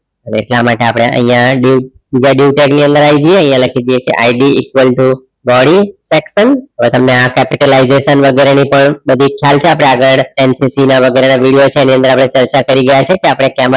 dieu tag ની અંદર આવી જઈએ લખી દઈએ IDeaqul too body section તમને આ capitalization વગેરેની પણ બધી ખ્યાલ છે આપણે આગળ MCQ વગેરેના video છે એમાં ચર્ચા કરી ગયા છીએ આપણે cable testing ની અંદર